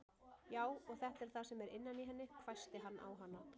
Já, og þetta er það sem er innan í henni, hvæsti hann á hana.